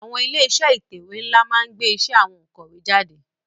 Àwon ilé isé ìtẹ̀wé nlá ma n gbé isé àwon ònkòwé jáde